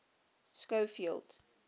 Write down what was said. schofield